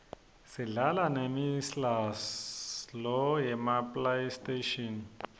sidlala nemi sla lo yema playstation